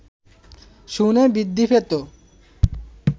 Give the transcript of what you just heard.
শুনে বৃদ্ধি পেত